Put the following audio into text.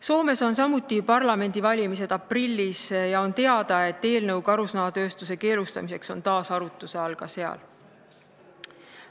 Soomes on parlamendivalimised aprillis ja on teada, et eelnõu karusnahatööstuse keelustamiseks on taas arutluse all ka seal.